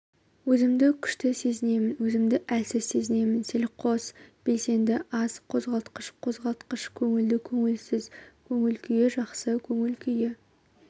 өзімді күшті сезінемін өзімді әлсіз сезінемін селқос белсенді аз қозғалғыштық қозғалғыштық көңілді көңілсіз көңіл-күйі жақсы көңіл-күйі